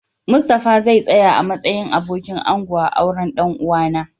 Mustapha zau tsaya a'matsayin abokin ango a'auren dan uwa na.